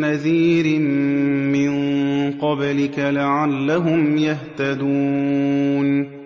نَّذِيرٍ مِّن قَبْلِكَ لَعَلَّهُمْ يَهْتَدُونَ